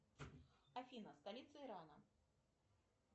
афина столица ирана